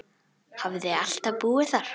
Hafði alltaf búið þar.